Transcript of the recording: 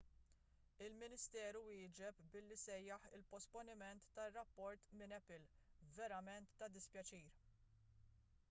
il-ministeru wieġeb billi sejjaħ il-posponiment tar-rapport minn apple verament ta' dispjaċir